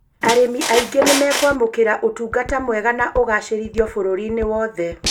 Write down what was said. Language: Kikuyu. Arĩmi aingĩ nĩmekwamũkĩra ũtungata mwega na ũgacĩrithĩtio bũrũri-inĩ wothe